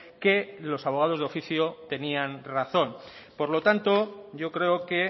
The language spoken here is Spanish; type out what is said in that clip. que los abogados de oficio tenían razón por lo tanto yo creo que